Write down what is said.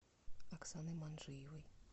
оксаной манджиевой